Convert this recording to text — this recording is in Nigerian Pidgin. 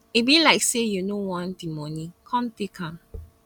e be like say you no want the money come take am